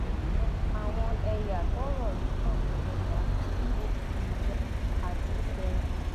àwọn ẹyà tọrọ yìí kàn ní yorùbá ibo ijaw àti middle bengal